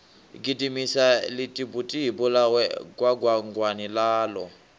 gidimisa ḽitibutibu ḽawe gwangwangwani ḽaḽo